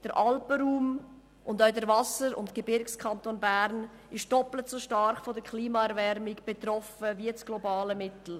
Der Alpenraum und auch der Wasser- und Gebirgskanton Bern sind doppelt so stark von der Klimaerwärmung betroffen wie das globale Mittel.